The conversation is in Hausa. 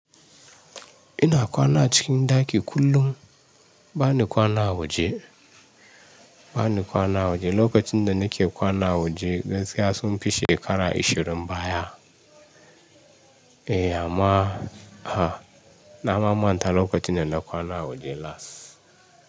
Ina kwana cikin ɗaki kullum. Ba ni kwana waje, ba ni kwana waje. Lokacin da na ke kwana waje gaskiya sun fi shekara isherin baya. Eh amma a na ma manta lokacin da na kwana waje last.